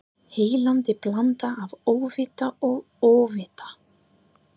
Heillandi blanda af óvita og ofvita.